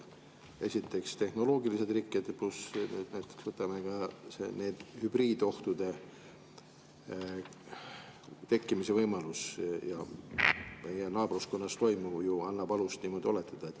Esiteks, tehnoloogilised rikked, pluss näiteks ka hübriidohtude tekkimise võimalus – meie naabruskonnas toimuv ju annab alust niimoodi oletada.